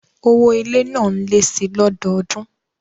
Owó ilé náà lé síi lọ́dọọdún